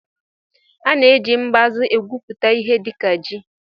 A na-eji mbazụ egwupụta ihe dịka ji